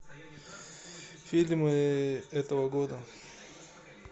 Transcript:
фильмы этого года